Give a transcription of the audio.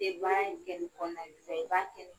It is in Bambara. in kɛ ni kɔnɔna na nga i b'a kɛ te